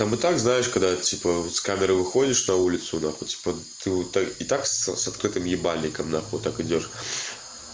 вот так знаешь когда типа с камерой выходишь на улицу нахуй типа ты вот так и так с открытым ебальником нахуй так идёшь